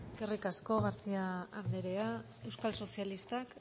eskerrik asko garcía andrea euskal sozialistak